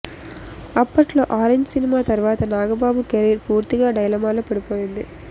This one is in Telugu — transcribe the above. అప్పట్లో ఆరెంజ్ సినిమా తర్వాత నాగబాబు కెరీర్ పూర్తిగా డైలమాలో పడిపోయింది